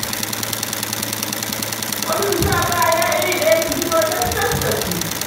Wasu su sa kaya iri ɗaya, su fito cas-cas da su.